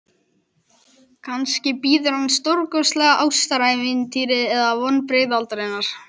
Kannski bíður hans stórkostlegt ástarævintýri eða vonbrigði aldarinnar.